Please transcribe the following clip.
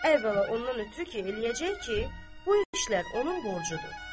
Əvvəla ondan ötrü ki, eləyəcək ki, bu işlər onun borcudur.